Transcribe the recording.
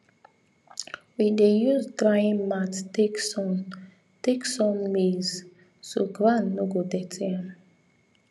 we dey use drying mat take sun take sun maize so ground no go dirty am